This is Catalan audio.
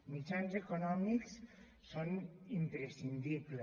mitjans econòmics són imprescindibles